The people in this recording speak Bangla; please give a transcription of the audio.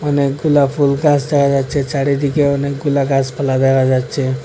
অনেকগুলা ফুলগাছ দেখা যাচ্ছে চারিদিকে অনেকগুলা গাছপালা দেখা যাচ্ছে।